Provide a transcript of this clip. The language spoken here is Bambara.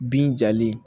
Bin jalen